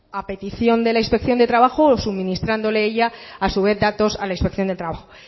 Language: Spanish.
a petición de la inspección de trabajo o suministrándole ella a su vez datos a la inspección de trabajo